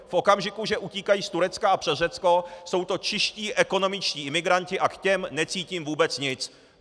V okamžiku, že utíkají z Turecka a přes Řecko, jsou to čistí ekonomičtí imigranti a k těm necítím vůbec nic.